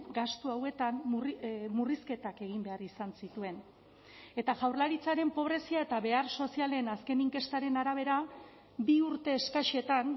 gastu hauetan murrizketak egin behar izan zituen eta jaurlaritzaren pobrezia eta behar sozialen azken inkestaren arabera bi urte eskasetan